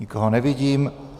Nikoho nevidím.